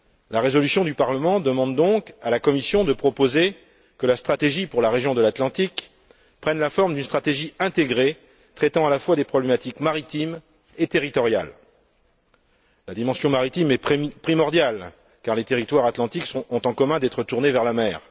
La résolution du Parlement demande donc à la Commission de proposer que la stratégie pour la région de l'Atlantique prenne la forme d'une stratégie intégrée traitant à la fois des problématiques maritimes et territoriales. La dimension maritime est primordiale car les territoires atlantiques ont en commun d'être tournés vers la mer.